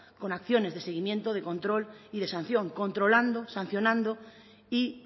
con acciones de seguimiento de control y de sanción controlando sancionando y